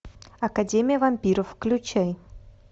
академия вампиров включай